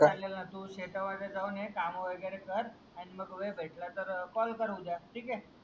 तू शेता मध्ये जाऊन ये काम वगेरे कर आणि मग वेद भेटला तर CALL कर उद्या